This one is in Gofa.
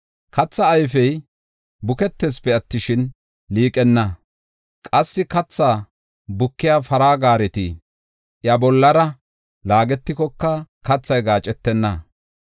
Katha ayfey buketeesipe attishin, liiqenna; qassi kathaa bukiya para gaareti iya bollara laagetikoka kathay gaacetenna.